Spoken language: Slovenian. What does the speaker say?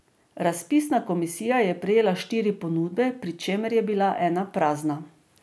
Razpisna komisija je prejela štiri ponudbe, pri čemer je bila ena prazna.